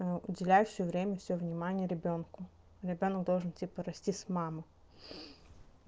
уделяющего время всё внимание ребёнку ребёнок должен типа расти с маму